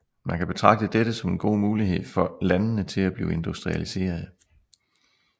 Man kan betragte dette som en god mulighed for landene til at blive industrialiserede